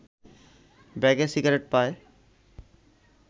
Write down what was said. ব্যাগে সিগারেট পায়